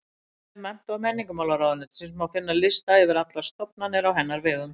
Á vef Mennta- og menningarmálaráðuneytisins má finna lista yfir allar stofnanir á hennar vegum.